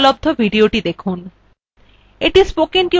এই linkএ উপলব্ধ videothe দেখুন